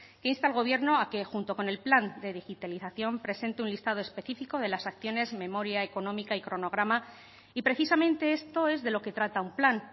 que insta al gobierno a que junto con el plan de digitalización presente un listado específico de las acciones memoria económica y cronograma y precisamente esto es de lo que trata un plan